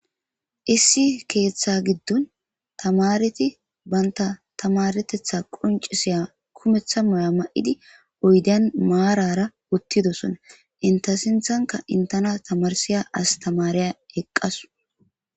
Issi keeththa giddon tamareti banta tamaretetha qoncisiya kumeththa moya ma'idi oyden maarara uttidosona inta sinthanka intana tamarsiya astamariya eqqasu